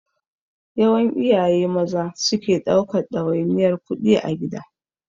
Yawan iyaye Maza suke ɗaukan ɗawainiyar kuɗi a gida.